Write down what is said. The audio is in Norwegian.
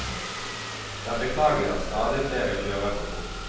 Det er beklagelig at stadig flere kjører for fort.